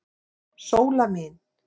Sóla mín.